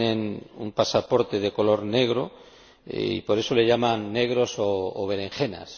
Tienen un pasaporte de color negro y por eso les llaman negros o berenjenas.